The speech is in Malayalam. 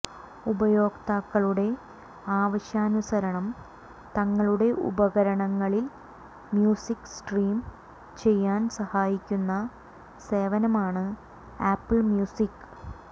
ഉപയോക്താക്കളുടെ ആവശ്യാനുസരണം തങ്ങളുടെ ഉപകരണങ്ങളിൽ മ്യൂസിക് സ്ട്രീം ചെയ്യാൻ സഹായിക്കുന്ന സേവനമാണ് ആപ്പിൾ മ്യൂസിക്